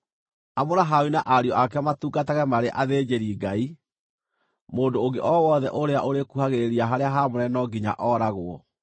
Amũra Harũni na ariũ ake matungatage marĩ athĩnjĩri-Ngai; mũndũ ũngĩ o wothe ũrĩa ũrĩkuhagĩrĩria harĩa haamũre no nginya ooragwo.”